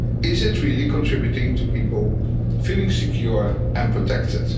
Is it really contributing to people feeling secure and protected?